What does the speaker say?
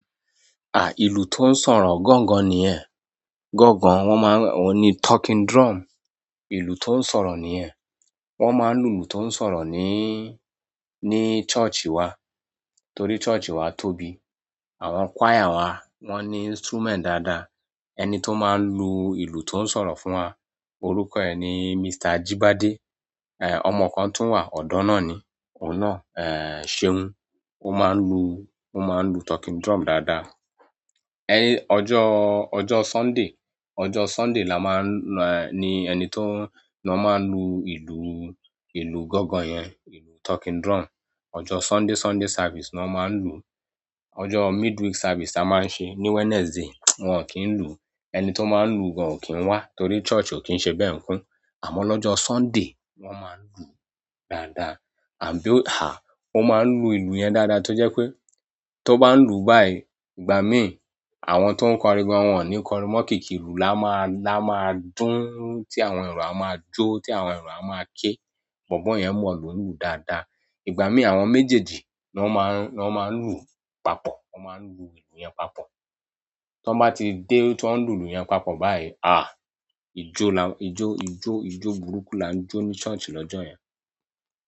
Ìlù tó ń sọ̀rọ̀ gangan niyẹn. Gangan, oun ni talking drum ìlù tó ń sọ̀rọ̀ ni ẹ. Wọ́n máa ń lu ìlù tó ń sọ̀rọ̀ ní church wá torí church wá tóbi. Àwọn choir wá, wọ́n ní instrument dáadáa. Ẹni tó máa ń lu ìlù tó ń sọ̀rọ̀ fún wa, orúkọ ẹ̀ ni Mr. Jíbádé, ọmọ kan tó wà ọ̀dọ́ náà ni. Òun náà, ṣeun. Ó máa ń lu, ó máa ń lu talking drum dáadáa. Ojo Sunday, ojo Sunday ni won maa lu ìlú gangan yen, talking drum. Ọjọ́ Sunday, Sunday service ni wọ́n máa ń lu. Ọjọ́ midweek service ti a máa ń ṣe ní Wednesday, wọ́n ò kí ń lu. Ẹni tó máa ń lu gan ò kí ń wá torí church ò kí ń ṣe bẹ́ẹ̀ nkun. Àmọ́ lọ́jọ́ Sunday, wọ́n máa ń lu dáadáa. Àbí ó máa ń lu ìlù yẹn dáadáa tó jẹ́ pé tó bá ń lu báyìí ìgbà mí, àwọn tó ń kọrin gan wọ́n ò ní kọrin mọ̀ kìkì ilù, lámáà dún tí àwọn èrò a máa jó, tí àwọn èrò a máa ké. Bọ̀bọ̀ yẹn mọ̀ ìlú lù dáadáa. Ìgbà mí àwọn méjèèjì ni wọ́n máa ń, wọ́n máa ń lùú papọ̀. Wọn máa ń lu ìlù yẹn papọ̀. Tí wọ́n bá ti dé tí wọ́n ń lu ìlù yẹn papọ̀ báyìí, ijó la, ijó, ijó, ijó burúkú la ń jó ní church lọ́jọ́ yẹn.